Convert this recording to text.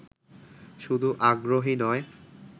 শুধু আগ্রহী নয়